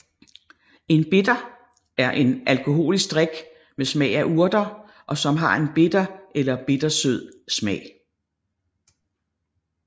En bitter er en alkoholisk drik med smag af urter og som har en bitter eller bittersød smag